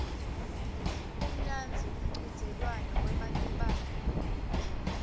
umnandzi umchudzelwano wematubane